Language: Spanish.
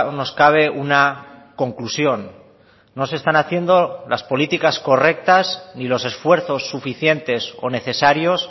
nos cabe una conclusión no se están haciendo las políticas correctas ni los esfuerzos suficientes o necesarios